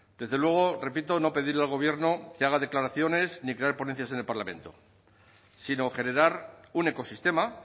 desde luego repito no pedirle al gobierno que haga declaraciones ni crear ponencias en el parlamento sino generar un ecosistema